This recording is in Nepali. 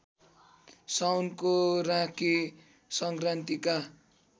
साउनको राँके संक्रान्तिका